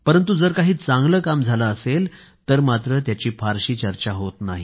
परंतु जर काही चांगलं काम झालं असेल तर मात्र त्याची फारशी चर्चा होत नाही